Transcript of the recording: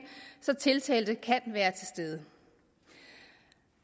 så tiltalte kan være til stede